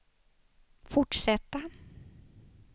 fortsätta